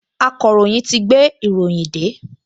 Akọ̀ròyìn ti gbé ìròyìn dé